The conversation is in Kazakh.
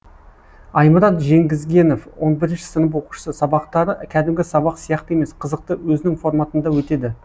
аймұрат жеткізгенов он бірінші сынып оқушысы сабақтары кәдімгі сабақ сияқты емес қызықты өзінің форматында өтеді